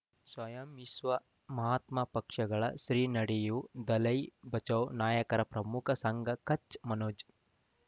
ಸ್ವಯಂ ವಿಶ್ವ ಮಹಾತ್ಮ ಪಕ್ಷಗಳ ಶ್ರೀ ನಡೆಯೂ ದಲೈ ಬಚೌ ನಾಯಕರ ಪ್ರಮುಖ ಸಂಘ ಕಚ್ ಮನೋಜ್